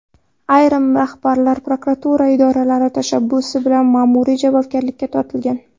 Ayrim rahbarlar prokuratura idoralari tashabbusi bilan ma’muriy javobgarlikka tortilgan.